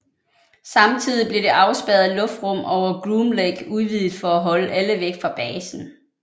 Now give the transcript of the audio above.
Samtidig blev det afspærrede luftrum over Groom Lake udvidet for at holde alle væk fra basen